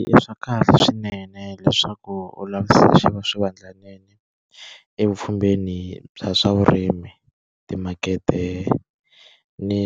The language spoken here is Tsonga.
I swa kahle swinene leswaku u lavisisa swivandlanene evupfhumbeni bya swa vurimi, timakete ni